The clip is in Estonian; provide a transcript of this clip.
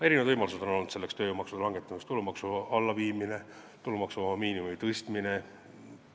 Tööjõumaksude langetamiseks on erinevaid võimalusi: tulumaksu allaviimine, tulumaksuvaba miinimumi tõstmine.